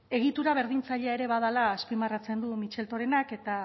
egitura berdintzailea ere badela azpimarratzen du mitxeltorenak eta